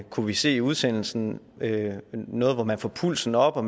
kunne vi se i udsendelsen noget hvor man får pulsen op og